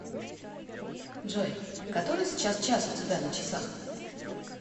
джой который сейчас час у тебя на часах